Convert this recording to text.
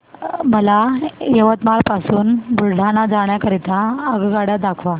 मला यवतमाळ पासून बुलढाणा जाण्या करीता आगगाड्या दाखवा